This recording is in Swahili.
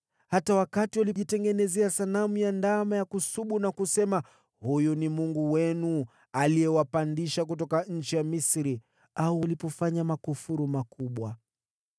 hata wakati walijitengenezea sanamu ya ndama ya kusubu na kusema, ‘Huyu ni mungu wenu, aliyewapandisha kutoka nchi ya Misri,’ au walipofanya makufuru makubwa.